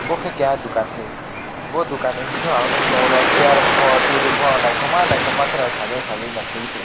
bo khe keha dukan se bo dukanni bisingyo ang nukgwi tongo chair pho table pho naithokma naithokma kheno sajei sajei no kheui.